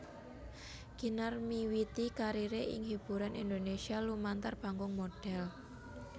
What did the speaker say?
Kinar miwiti kariré ing hiburan Indonésia lumantar panggung modhél